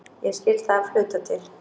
Ég skil það af hluta til.